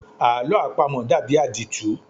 Àlọ́ àpamọ dàbí àdìtú.